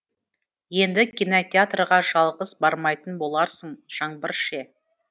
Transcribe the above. енді кинотеатрға жалғыз бармайтын боларсың жаңбыр ше